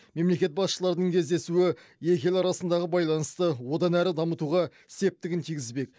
мемлекет басшыларының кездесуі екі ел арасындағы байланысты одан әрі дамытуға септігін тигізбек